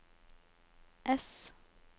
S